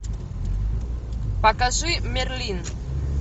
покажи мерлин